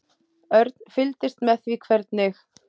Örn fylgdist með því hvernig